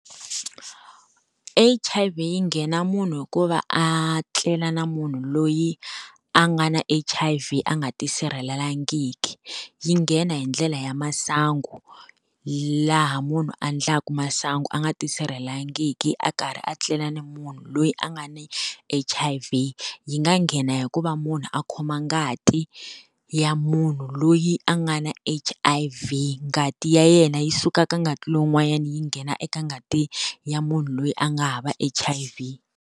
H_I_V yi nghena munhu hi ku va a tlela na munhu loyi a nga na H_I_V a nga ti sirhelelangiki. Yi nghena hi ndlela ya masangu laha munhu a endlaka masangu a nga ti sirhelelangaki a karhi a tlela ni munhu loyi a nga ni H_I_V. Yi nga nghena hi ku va munhu a khoma ngati ya munhu loyi a nga na H_I_V, ngati ya yena yi suka ka ngati lowun'wanyana yi nghena eka ngati ya munhu loyi a nga hava H_I_V.